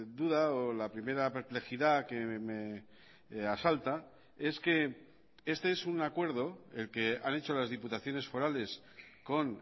duda o la primera perplejidad que me asalta es que este es un acuerdo el que han hecho las diputaciones forales con